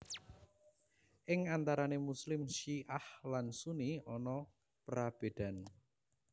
Ing antarané Muslim Syi ah lan Sunni ana prabédan